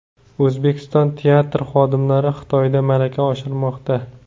O‘zbekiston teatr xodimlari Xitoyda malaka oshirmoqda.